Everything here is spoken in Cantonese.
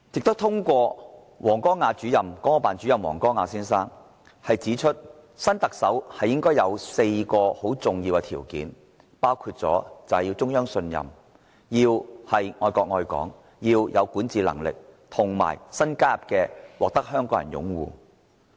國務院港澳事務辦公室主任王光亞先生亦指出，新特首應該符合4項很重要的條件，包括獲中央信任、愛國愛港、有管治能力，再新加入的獲得香港人擁護。